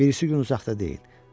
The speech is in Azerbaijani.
Birisi gün uzaqda deyil.